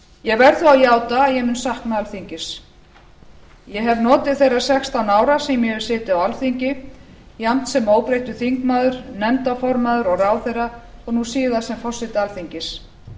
ég verð þó að játa að ég mun sakna alþingis ég hef notið þeirra sextán ára sem ég hef setið á alþingi jafnt sem óbreyttur þingmaður nefndarformaður og ráðherra og nú síðast sem forseti alþingis